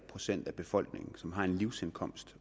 procent af befolkningen som har en livsindkomst